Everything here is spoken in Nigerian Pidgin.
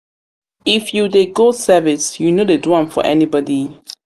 if u dey go service u no dey do am for anybody